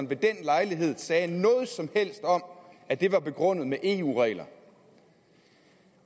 ved den lejlighed sagde noget som helst om at det var begrundet med eu regler